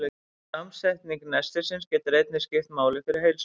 Samsetning nestisins getur einnig skipt máli fyrir heilsuna.